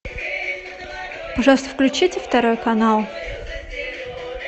пожалуйста включите второй канал